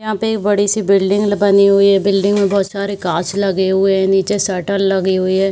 यहाँ पे एक बड़ी सी बिल्डिंग ल बनी हुई है | बिल्डिंग पे बहुत सारे कांच लगे हुए हैं नीचे शटर लगी हुई है ।